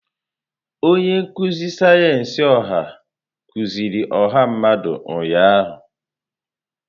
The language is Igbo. Onye nkuzi sayensị ọha kuziri ọha mmadụ ụnyahụ.